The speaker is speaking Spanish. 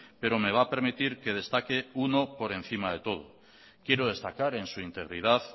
pero me va a permitir que destaque uno por encima de todos quiero destacar en su integridad